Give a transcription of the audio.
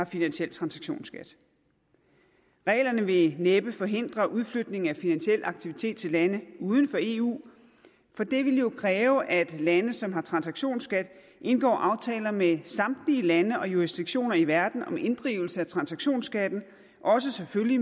finansiel transaktionsskat reglerne vil næppe forhindre udflytning af finansiel aktivitet til lande uden for eu for det ville jo kræve at de lande som har en transaktionsskat indgår aftaler med samtlige lande og jurisdiktioner i verden om inddrivelse af transaktionsskatten selvfølgelig